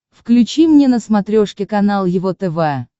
включи мне на смотрешке канал его тв